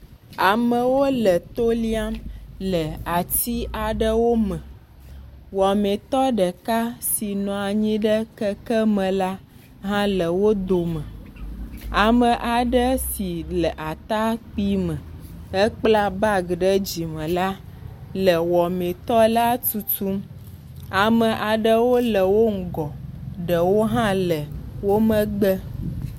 Amewo le to liam le ati aɖewo me. Wɔmetɔ ɖeka si nɔ anyi ɖe kekeme la hã le wo dome. Ame aɖe si le atakpi me hekpla bagi ɖe dzime la le wɔmetɔla tutum. Ame aɖewo le wo ŋgɔ ɖewo hã le wo megbe.